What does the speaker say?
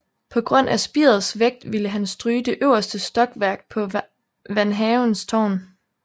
På grund af spirets vægt ville han stryge det øverste stokværk på van Havens tårn